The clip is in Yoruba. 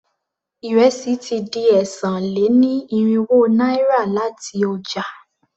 Ìrẹsì ti di ẹ́sàn-án-lé-ní-irínwó náírà láti ọjà.